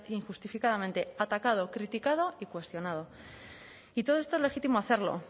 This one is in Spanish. injustificadamente atacado criticado y cuestionado y todo esto es legítimo hacerlo